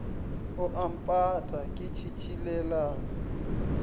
o a mpata ke tšhitšhilelang